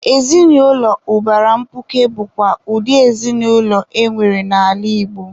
Ezinụlọ ụbara mkpuke bụkwa ụdị ezinụlọ enwere n'ala Igbo.